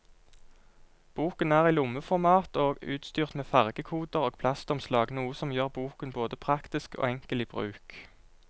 Boken er i lommeformat og utstyrt med fargekoder og plastomslag, noe som gjør boken både praktisk og enkel i bruk.